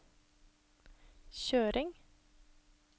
kjøring